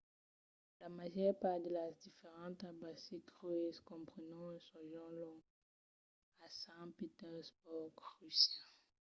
la màger part de las diferentas baltic cruises comprenon un sojorn long a sant petersborg russia